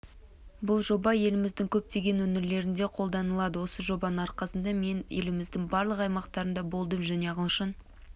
бұл жоба еліміздің көптеген өңірлерінде қолданылады осы жобаның арқасында мен еліміздің барлық аймақтарында болдым және ағылшын